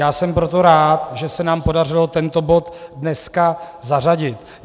Já jsem proto rád, že se nám podařilo tento bod dneska zařadit.